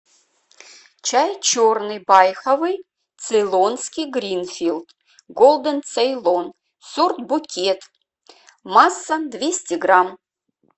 чай черный байховый цейлонский гринфилд голден цейлон сорт букет масса двести грамм